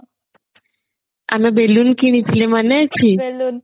ଆମେ balloon କିଣିଥିଲେ ମନେ ଅଛି